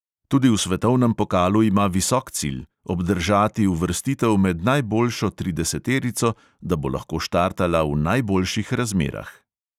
Tudi v svetovnem pokalu ima visok cilj – obdržati uvrstitev med najboljšo trideseterico, da bo lahko štartala v najboljših razmerah.